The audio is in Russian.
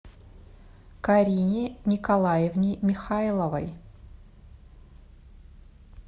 карине николаевне михайловой